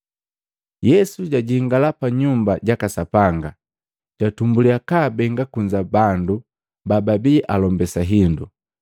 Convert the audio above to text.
Yesu jajingala pa Nyumba jaka Sapanga, jatumbuliya kabeenge kunza bandu babaii alombase hindu,